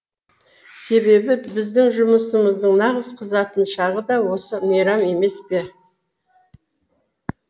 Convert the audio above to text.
себебі біздің жұмысымыздың нағыз қызатын шағы да осы мейрам емес пе